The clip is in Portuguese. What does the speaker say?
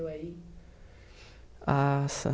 aí. Nossa.